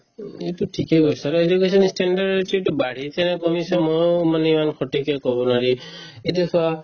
উম, এইটো ঠিকে কৈছা আৰু education standard তো বাঢ়িছে নে কমিছে ময়ো মানে ইমান সঠিকে ক'ব নোৱাৰিম এতিয়া চোৱা